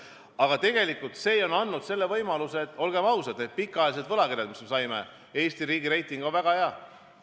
Aga tegelikult see on andnud selle võimaluse, olgem ausad, et pikaajalised võlakirjad, mis me saime – Eesti riigi reiting on väga hea.